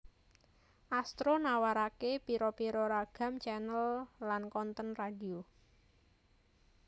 Astro nawaraké pira pira ragam channel lan konten radio